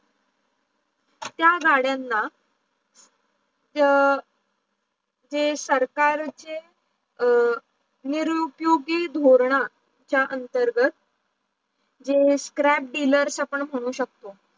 त्या गाडयांना जे सरकारचे निरूपीयोगी धूर्णा चा अंतर्गत जे scrap dealer आपण म्हणू शकतो